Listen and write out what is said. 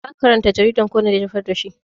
Zaka karanta jaridan ko na jefar da shi?